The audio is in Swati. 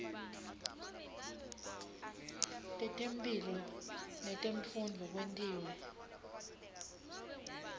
tetemphilo netemfundvo kwentiwe